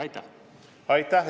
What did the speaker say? Aitäh!